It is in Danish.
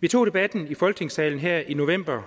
vi tog debatten i folketingssalen her i november